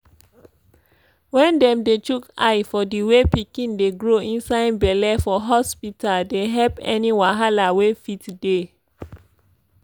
wen dem dey chook eye for the way pikin dey grow inside belle for hospita dey helpemm any wahala wey fit dey.